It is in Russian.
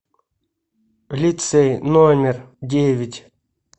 лицей номер девять